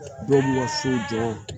Dɔw ka so jɔ